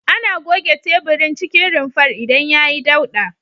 Ana goge teburin cikin rumfar idan yayi dauɗa.